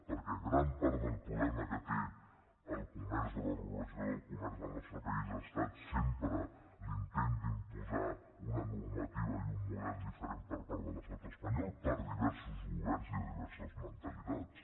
perquè gran part del problema que té el comerç o la regulació del comerç al nostre país ha estat sempre l’intent d’imposar una normativa i un model diferents per part de l’estat espanyol per diversos governs i de diverses mentalitats